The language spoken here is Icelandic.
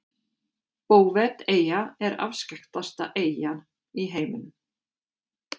Bouveteyja er afskekktasta eyja í heiminum.